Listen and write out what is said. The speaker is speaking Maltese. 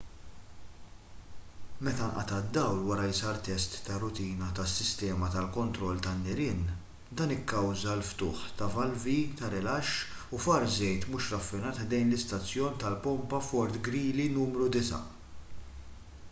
meta nqata' d-dawl wara li sar test ta' rutina tas-sistema tal-kontroll tan-nirien dan ikkawża l-ftuħ ta' valvi ta' rilaxx u far żejt mhux raffinat ħdejn l-istazzjon tal-pompa fort greely nru 9